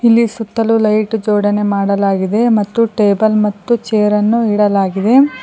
ಇಲ್ಲಿ ಸುತ್ತಲು ಲೈಟ್ ಜೋಡಣೆ ಮಾಡಲಾಗಿದೆ ಮತ್ತು ಟೇಬಲ್ ಮತ್ತು ಚೇರನ್ನು ಇಡಲಾಗಿದೆ.